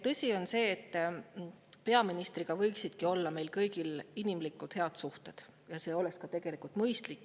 Tõsi on see, et peaministriga võiksidki olla meil kõigil inimlikud, head suhted, see oleks tegelikult mõistlik.